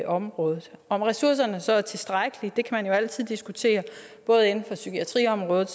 området om ressourcerne så er tilstrækkelige kan man jo altid diskutere både inden for psykiatriområdet